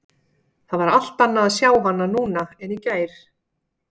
Það var allt annað að sjá hana núna en í gær.